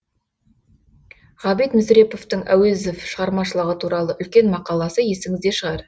ғабит мүсіреповтің әуезов шығармашылығы туралы үлкен мақаласы есіңізде шығар